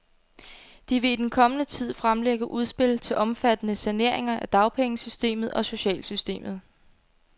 De vil i den kommende tid fremlægge udspil til omfattende saneringer af dagpengesystemet og socialsystemet.